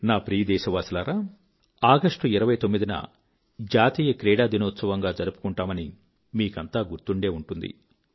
నా ప్రియ దేశవాసులారా 29 ఆగస్ట్ న జాతీయ క్రీడాదినోత్సవంగా జరుపుకుంటామని మీకంతా గుర్తు ఉండే ఉంటుంది